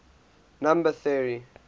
number theory